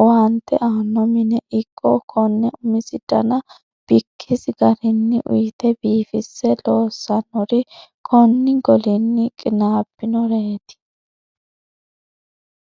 owaante aano mine ikko kone umisi dana bikkisi garinni uyite biifise loosanori koni golini qinabbinoreti.